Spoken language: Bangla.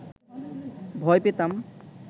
ভয় পেতাম